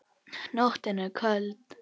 Nóttin er köld.